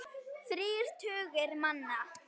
Þrír tugir manna.